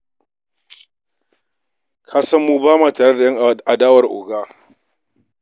Ka san mu ba ma tare da ƴan adawar oga.